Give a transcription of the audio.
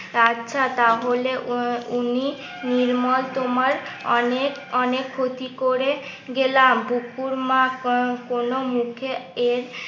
আচ্ছা তাহলে উ উনি নির্মল তোমার অনেক অনেক ক্ষতি করে গেলাম বুকুর মা কোনো মুখে এর